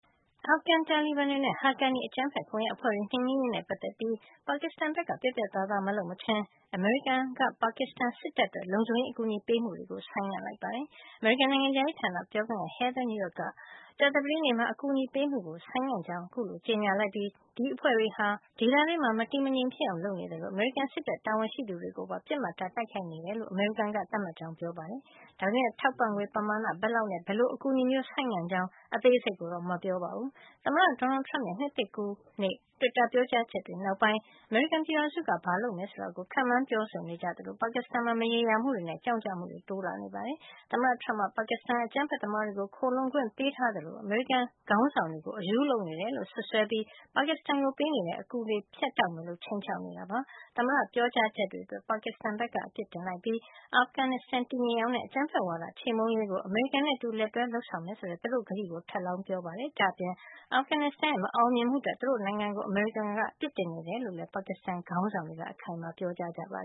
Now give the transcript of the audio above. အာဖဂန်တာလီဘန်တွေနဲ့ Haqqani အကြမ်းဖက်ကွန်ယက် အဖွဲ့တွေနှိမ်နင်းရေး နဲ့ ပတ်သက်ပြီး ပါကစ္စတန်ဘက်က ပြတ်ပြတ်သားသား မလုပ်မချင်း အမေရိကန်ပြည်ထောင်စုက ပါကစ္စတန် စစ်တပ်အတွက် လုံခြုံရေး အကူညီပေးမှုတွေကို ဆိုင်းငံ့လိုက်ပါတယ်။ အမေရိကန် နိုင်ငံခြားရေးဌာန ပြောခွင့်ရ Heather Nauert က ကြာသပတေးနေ့မှာ အကူညီပေးမှု ဆိုင်းငံ့ကြောင်း အခုလို ကြေညာလိုက်ပြီး ဒီအဖွဲ့တွေဟာ ဒေသတွင်းမှာ မတည်မငြိမ်ဖြစ်အောင် လုပ်နေသလို အမေရိကန်စစ်တပ် တာဝန်ရှိသူတွေကိုပါ ပစ်မှတ်ထား တိုက်ခိုက်နေတယ်လို့ အမေရိကန်က သတ်မှတ်ကြောင်း ပြောကြားခဲ့တာပါ။ ဒါပေမယ့် ထောက်ပံ့ငွေပမာဏ ဘယ်လောက်နဲ့ ဘယ်လို အကူညီမျိုးကို ဆိုင်းငံ့ကြောင်း အသေးစိတ်ကိုတော့ မပြောခဲ့ပါဘူူး။ သမ္မတ Donald Trump ရဲ့ နှစ်သစ်ကူးနေ့ တွစ်တာ ပြောကြားချက်တွေ နောက်ပိုင်း အမေရိကန်ပြည်ထောင်စုက ဘာလုပ်မယ် ဆိုတာကို ခန့်မှန်းပြောဆိုနေကြ သလို ပါကစ္စတန်မှာ မရေရာမှုတွေနဲ့ ကြောင့်ကျမှုတွေ တိုးလာနေတာပါ။ သမ္မတ Trump က ပါကစ္စတန်ဟာ အကြမ်းဖက်သမားတွေကို ခိုလှုံခွင့် ပေးထားသလို အမေရိကန် ခေါင်းဆောင်တွေကို အရူးလုပ်နေတယ်လို့ စွပ်စွဲပြီး ပါကစ္စတန်ကို ပေးအပ်နေတဲ့ ကူညီထောက်ပံ့ငွေတွေ ဖြတ်တောက်မယ်လို့ ခြိမ်းခြောက်နေတာပါ။ သမ္မတရဲ့ ပြောကြားချက်တွေ အတွက် ပါကစ္စတန်က ရှုံ့ချပြစ်တင်လိုက်ပြီး အာဖဂန်နစ္စတန် တည်ငြိမ်အောင်နဲ့ အကြမ်းဖက်ဝါဒ ချေမှုန်းရေးကို အမေရိကန်နဲ့ အတူ လက်တွဲလုပ်ဆောင်မယ်ဆိုတဲ့ သူတို့ကတိကို ထပ်လောင်း ပြောကြားခဲ့ပါတယ်။ ဒါ့အပြင် အာဖဂန် နစ္စတန် နိုင်ငံရဲ့ မအောင်မြင်မှုအတွက် သူတို့ နိုင်ငံကို အမေရိကန်က အပစ်တင်နေတယ်လို့ လည်း ပါကစ္စတန် ခေါင်းဆောင်တွေက အခိုင်အမာ ပြောနေကြတာပါ